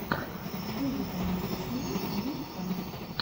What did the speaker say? выведи мне дисней ю ка